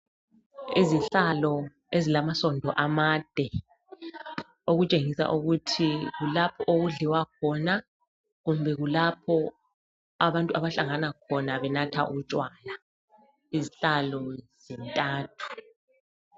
Izihlalo ezilamasondo amade, okutshengisa ukuthi kulapho okudliwa khona kumbe kulapho abantu abahlangana khona benatha utshwala. Izihlalo zintathu.